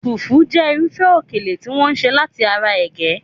Fufu jẹ́ irúfẹ́ okele tí wọ́n ṣe láti ara ege